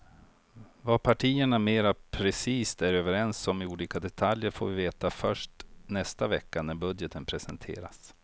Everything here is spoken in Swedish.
Vad partierna mera precist är överens om i olika detaljer får vi veta först nästa vecka när budgeten presenteras.